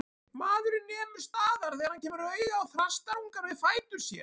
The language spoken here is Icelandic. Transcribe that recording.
Maðurinn nemur staðar þegar hann kemur auga á þrastarungann við fætur sér.